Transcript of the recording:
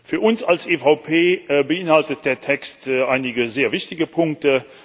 Für uns als EVP beinhaltet der Text einige sehr wichtige Punkte.